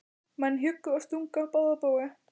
Menn hjuggu og stungu á báða bóga.